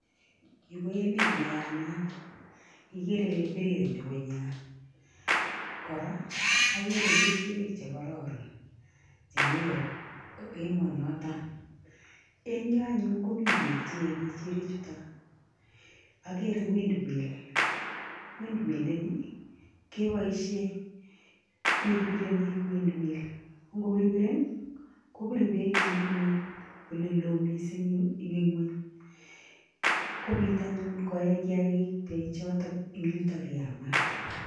ni koemet no yamat igere ile birir ngungunyat kora agere kechirek che kararon ,eng yo anyun komi beek che eei kechirek choto agere windmill windmill ini kebaisiyen wirwireni si kobir beek si kobit anyun koee kechirek chuto